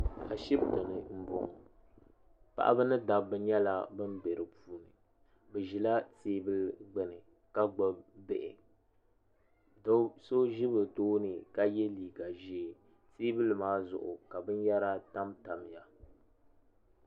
Ashibiti ni mbɔŋɔ paɣaba ni dabba nyɛla bini bɛ di puuni ni zila tɛɛbuli gbuni ka gbuni bihi do so zi bi tooni ka ye liiga zɛɛ tɛɛbuli maa zuɣu ka bini yara tamtamiya.